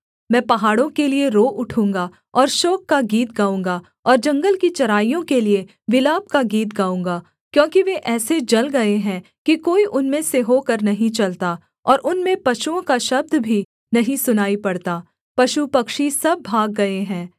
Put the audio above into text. मैं पहाड़ों के लिये रो उठूँगा और शोक का गीत गाऊँगा और जंगल की चराइयों के लिये विलाप का गीत गाऊँगा क्योंकि वे ऐसे जल गए हैं कि कोई उनमें से होकर नहीं चलता और उनमें पशुओं का शब्द भी नहीं सुनाई पड़ता पशुपक्षी सब भाग गए हैं